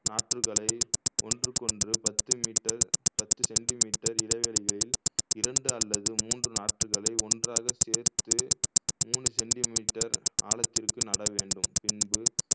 நாற்றுகளை ஒன்றுக்கொன்று பத்து மீட்டர் பத்து சென்டிமீட்டர் இடைவெளியில் இரண்டு அல்லது மூன்று நாற்றுகளை ஒன்றாக சேர்த்து மூணு சென்டிமீட்டர் ஆழத்திற்கு நட வேண்டும் பின்பு